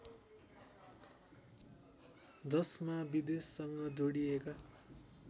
जसमा विदेशसँग जोडिएका